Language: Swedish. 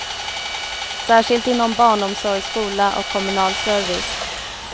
Särskilt inom barnomsorg, skola och kommunal service.